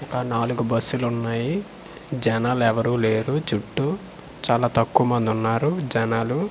ఒక నాలుగు బస్సులున్నాయి జనాలెవరూ లేరు చుట్టూ చాలా తక్కువమందున్నారు జనాలు .